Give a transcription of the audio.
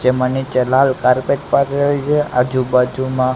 જે મને જલાલ કાર્પેટ પાથરેલ છે આજુબાજુમાં--